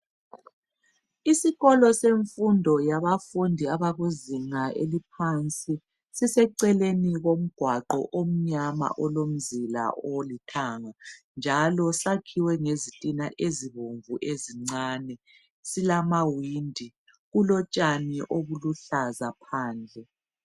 Isikolo semfundo yabafundi abakuzinga eliphansi. Siseceleni komgwaqo omnyama olomzila olithanga. Njalo sakhiwe ngezitina ezibomu ezincane .Silamawindi silotshani obuluhlaza phandle .